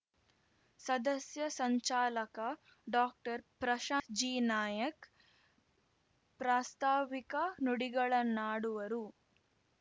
ಸದಸ್ಯ ಸಂಚಾಲಕ ಡಾಕ್ಟರ್ ಪ್ರಶಾಂತ್‌ ಜಿನಾಯಕ್‌ ಪ್ರಾಸ್ತಾವಿಕ ನುಡಿಗಳನ್ನಾಡುವರು